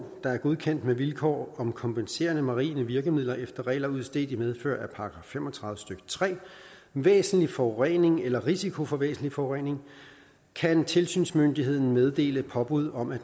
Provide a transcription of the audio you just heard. der er godkendt med vilkår om kompenserende marine virkemidler efter regler udstedt i medfør af § fem og tredive stykke tre væsentlig forurening eller risiko for væsentlig forurening kan tilsynsmyndigheden meddele påbud om at